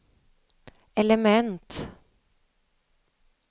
element